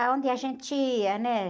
Aonde a gente ia, né?